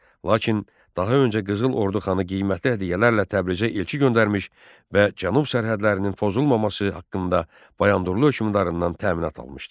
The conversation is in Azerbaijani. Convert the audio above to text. Lakin daha öncə Qızıl Ordu xanı qiymətli hədiyyələrlə Təbrizə elçi göndərmiş və cənub sərhədlərinin pozulmaması haqqında Bayandurlu hökmdarından təminat almışdı.